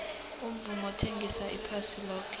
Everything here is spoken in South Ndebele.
umvumo uthengisa iphasi loke